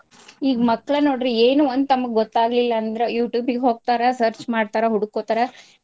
ಈಗ ಮಕ್ಳ್ ನೋಡ್ರಿ ಏನು ಒಂದ್ ತಮಗ್ ಗೊತ್ತಾಗ್ಲಿಲಂದ್ರ್ Youtube ಗೆ ಹೋಗ್ತಾರ search ಮಾಡ್ತಾರ, ಹುಡ್ಕೋತ್ತಾರಾ.